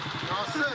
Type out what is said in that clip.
Nasır.